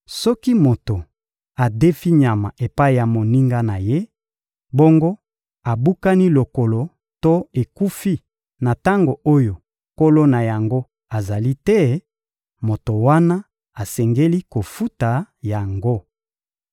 Soki moto adefi nyama epai ya moninga na ye, bongo ebukani lokolo to ekufi na tango oyo nkolo na yango azali te, moto wana asengeli kofuta yango.